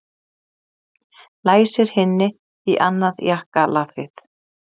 Læsir hinni í annað jakkalafið.